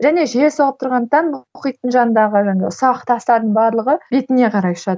және жел соғып тұрғандықтан мұхиттың жанындағы ұсақ тастардың барлығы бетіңе қарай ұшады